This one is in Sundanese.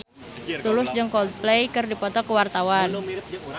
Tulus jeung Coldplay keur dipoto ku wartawan